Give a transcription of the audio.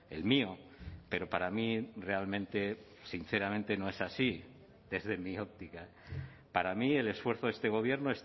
el mío pero para mí realmente sinceramente no es así desde mi óptica para mí el esfuerzo de este gobierno